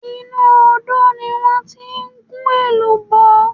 Inú Odò ni wọ́n ti ń gún èlùbọ́